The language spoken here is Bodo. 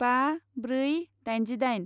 बा ब्रै दाइनजिदाइन